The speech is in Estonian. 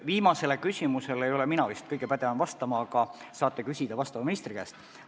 Viimasele küsimusele ei ole mina vist kõige pädevam vastama, seda saate küsida valdkonnaministri käest.